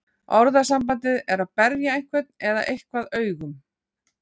Orðasambandið er að berja einhvern eða eitthvað augum.